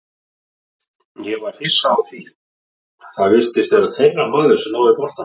Ég var hissa því að það virtist sem að þeirra maður hafi náð boltanum.